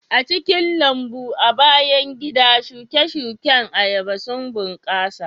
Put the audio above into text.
A cikin lambun bayan gida, shuke-shuken ayaba sun bunƙasa